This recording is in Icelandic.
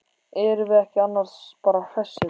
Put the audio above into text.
Erum við ekki annars bara hressir?